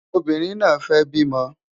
Obìnrin náà fẹ́ bímọ